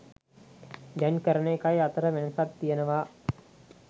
දැන් කරන එකයි අතර වෙනසක් තියෙනවා.